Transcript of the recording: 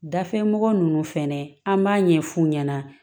Dafimɔgɔ ninnu fɛnɛ an b'a ɲɛ fu ɲɛna